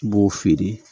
I b'o feere